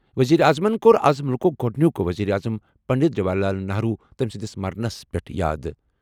ؤزیٖرِ اعظمن کوٚر اَز مُلکُک گۄڈنیُک ؤزیٖر اعظم پنٛڈِت جواہر لال نہرو تٔمہِ سٕنٛدِس مرنَس پٮ۪ٹھ یاد۔